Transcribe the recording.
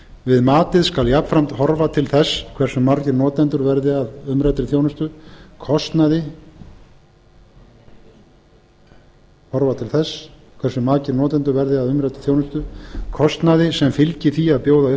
við matið skal jafnframt horfa til þess hversu margir notendur verði að umræddri þjónustu kostnaði sem fylgir því að bjóða upp á